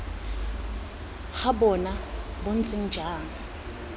ga bona bo ntse jang